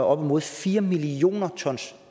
op imod fire million ton